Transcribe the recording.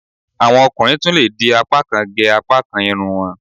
Àwọn ọkùnrin tún lè di apákan gẹ apákan irun wọ́n